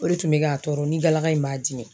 O de tun be k'a tɔɔrɔ ni galaka in b'a dimi